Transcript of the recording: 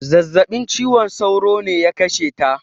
Zazzabin ciwon sauro ne ya kashe ta